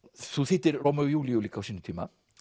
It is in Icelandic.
þú þýddir Rómeó og Júlíu líka á sínum tíma